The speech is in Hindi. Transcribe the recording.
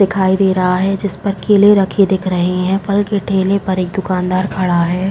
दिखाई दे रहा है जिस पर केले रखे दिख रहे हैं। फल के ढेले पर एक दुकानदार खड़ा है।